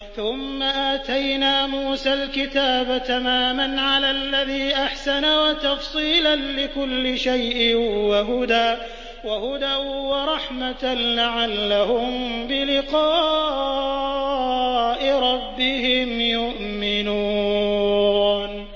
ثُمَّ آتَيْنَا مُوسَى الْكِتَابَ تَمَامًا عَلَى الَّذِي أَحْسَنَ وَتَفْصِيلًا لِّكُلِّ شَيْءٍ وَهُدًى وَرَحْمَةً لَّعَلَّهُم بِلِقَاءِ رَبِّهِمْ يُؤْمِنُونَ